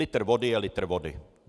Litr vody je litr vody.